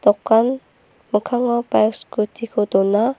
dokan mikkango baik scooty-ko dona.